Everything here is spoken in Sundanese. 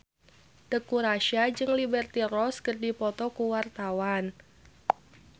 Teuku Rassya jeung Liberty Ross keur dipoto ku wartawan